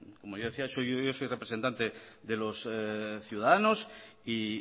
como yo decía yo soy representante de los ciudadanos y